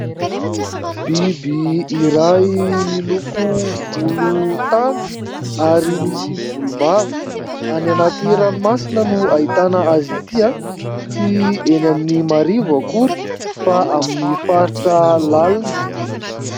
Biby iray miloko volontany ary misy volombava. Any anaty ranomasina no ahitana azy ity. Tsy eny amin'ny marivo akory fa amin'ny faritra lalina.